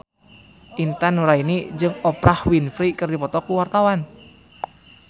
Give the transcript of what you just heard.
Intan Nuraini jeung Oprah Winfrey keur dipoto ku wartawan